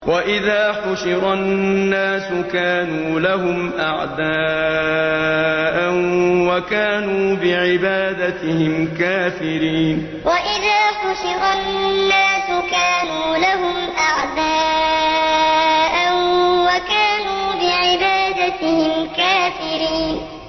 وَإِذَا حُشِرَ النَّاسُ كَانُوا لَهُمْ أَعْدَاءً وَكَانُوا بِعِبَادَتِهِمْ كَافِرِينَ وَإِذَا حُشِرَ النَّاسُ كَانُوا لَهُمْ أَعْدَاءً وَكَانُوا بِعِبَادَتِهِمْ كَافِرِينَ